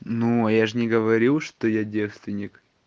ну я же не говорю что я девственик